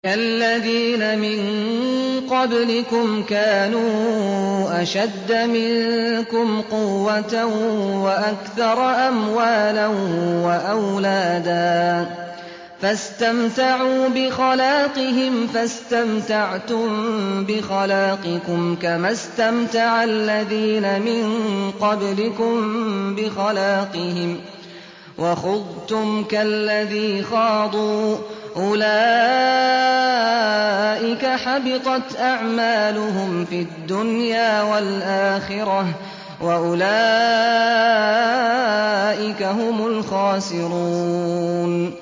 كَالَّذِينَ مِن قَبْلِكُمْ كَانُوا أَشَدَّ مِنكُمْ قُوَّةً وَأَكْثَرَ أَمْوَالًا وَأَوْلَادًا فَاسْتَمْتَعُوا بِخَلَاقِهِمْ فَاسْتَمْتَعْتُم بِخَلَاقِكُمْ كَمَا اسْتَمْتَعَ الَّذِينَ مِن قَبْلِكُم بِخَلَاقِهِمْ وَخُضْتُمْ كَالَّذِي خَاضُوا ۚ أُولَٰئِكَ حَبِطَتْ أَعْمَالُهُمْ فِي الدُّنْيَا وَالْآخِرَةِ ۖ وَأُولَٰئِكَ هُمُ الْخَاسِرُونَ